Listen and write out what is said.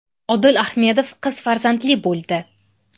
Odil Ahmedov qiz farzandli bo‘ldi.